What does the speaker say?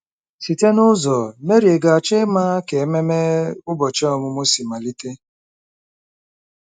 Site n'ụzọ, Mary, ị ga-achọ ịma ka ememe ụbọchị ọmụmụ si malite?